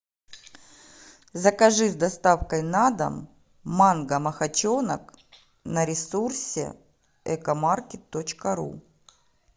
закажи с доставкой на дом манго махачонок на ресурсе эко маркет точка ру